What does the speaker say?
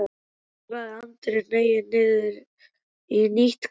svaraði Andri og hneig niður í nýtt kast.